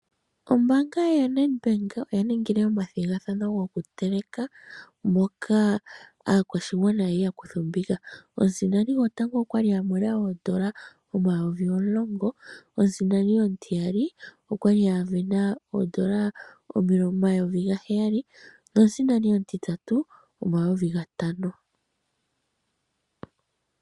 Ombanga ya Nedbank oyaningile oma dhigathano ngokuteleka moka akwashingwana kwali yakutha ombinga , omusindani ngotango okwali amona oondola omayovi omulongo, omusindani omutiyali okwali avena oondola omayovi ngaheyali, nomusindani omutitatu omayovi ngatano.